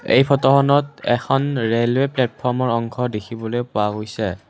এই ফটোখনত এখন ৰেলৱে প্লেটফৰ্মৰ অংশ দেখিবলৈ পোৱা গৈছে।